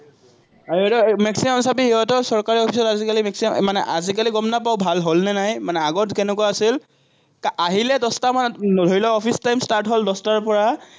আৰু এটা maximum চাবি সিহঁতৰ চৰকাৰী অফিচত আজিকালি maximum মানে আজিকালি গম নাপাওঁ ভাল হল নে নাই, মানে আগত কেনেকুৱা আছিল, আহিলে দশটামান, ধৰি ল, অফিচ time start হল দশটাৰপৰা